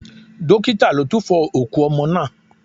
Dókítà ló túfo òkú ọmọ náà.